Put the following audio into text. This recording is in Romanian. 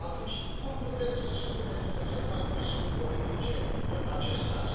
Atunci cum puteți să spuneți că se fac presiuni politice în acest caz?